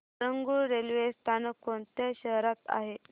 Harangul railway स्थानक कोणत्या शहरात आहे